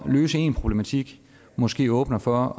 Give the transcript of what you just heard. løse en problematik måske åbner for